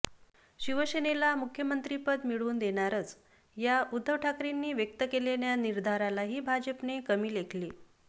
शिवसेनेला मुख्यमंत्रिपद मिळवून देणारच या उद्धव ठाकरेंनी व्यक्त केलेल्या निर्धारालाही भाजपने कमी लेखले